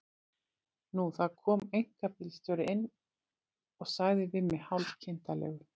Nú, það kom einkabílstjóri inn og sagði við mig hálf kindarlegur